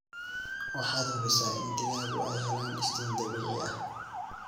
Waxaad hubisa in digaagu aay helaan iftiin dabiici ah.